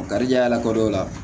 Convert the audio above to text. Garijɛgɛ la ko dɔ la